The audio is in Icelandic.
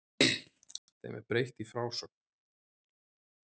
Þeim er breytt í frásögn.